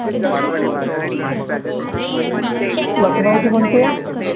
लखनऊची कोणची आहे